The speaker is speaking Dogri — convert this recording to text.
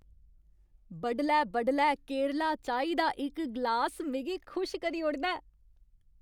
बडलै बडलै केरला चाही दा इक ग्लास मिगी खुश करी ओड़दा ऐ।